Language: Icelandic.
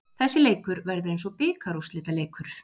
Þessi leikur verður eins og bikarúrslitaleikur.